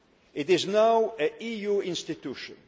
It is now an EU institution.